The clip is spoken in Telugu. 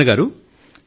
భావన గారూ